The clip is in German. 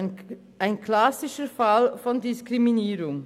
Ein klassischer Fall von Diskriminierung.